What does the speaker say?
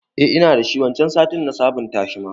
Eh ina dashi, waccan satin na sabon tashi ma